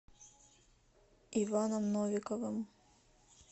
иваном новиковым